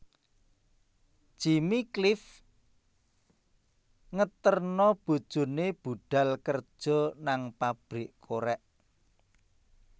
Jimmy Cliff ngeterno bojone budhal kerjo nang pabrik korek